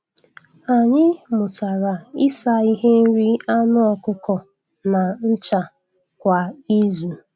Anyị mụtara ịsa ihe nri anụ ọkụkọ na ncha kwa izu.